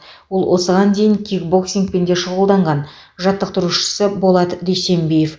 ол осыған дейін кикбоксингпен де шұғылданған жаттықтырушысы болат дүйсенбиев